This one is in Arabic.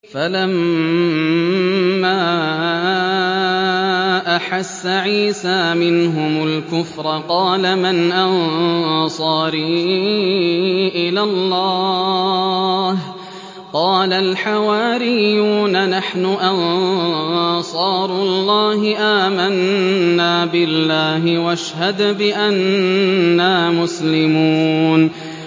۞ فَلَمَّا أَحَسَّ عِيسَىٰ مِنْهُمُ الْكُفْرَ قَالَ مَنْ أَنصَارِي إِلَى اللَّهِ ۖ قَالَ الْحَوَارِيُّونَ نَحْنُ أَنصَارُ اللَّهِ آمَنَّا بِاللَّهِ وَاشْهَدْ بِأَنَّا مُسْلِمُونَ